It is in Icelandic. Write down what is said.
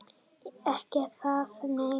Ekki það nei.